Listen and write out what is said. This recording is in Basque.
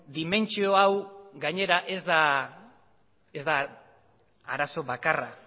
dimentsio hau gainera ez da arazo bakarra